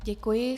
Děkuji.